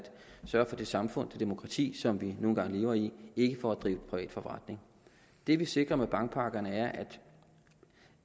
sørge for det samfund det demokrati som vi nu engang lever i ikke for at drive privat forretning det vi sikrer med bankpakkerne er